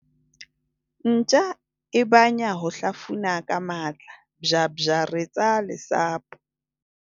ntja e banya ho hlafuna ka matla, bjabjaretsa lesapo